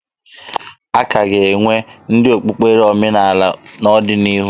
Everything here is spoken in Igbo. A ka ga-enwe ndị okpukpere omenaala n'ọdịnihu